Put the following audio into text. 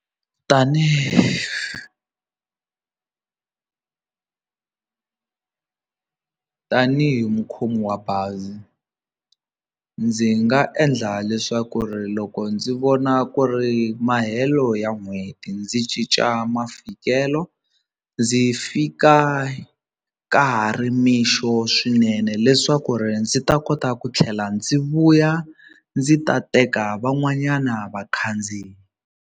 tanihi mukhomi wa bazi ndzi nga endla leswaku ri loko ndzi vona ku ri mahelo ya n'hweti ndzi cinca mafikelo ndzi fika ka ha ri mixo swinene leswaku ri ndzi ta kota ku tlhela ndzi vuya ndzi ta teka van'wanyana vakhandziyi.